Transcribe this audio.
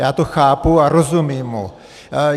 Já to chápu a rozumím mu.